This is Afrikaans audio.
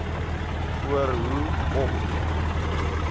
oor hoe om